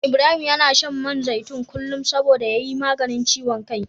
Ibrahim yana shan man zaitun kullum saboda ya yi maganin ciwon kai.